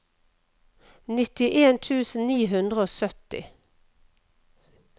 nittien tusen ni hundre og sytti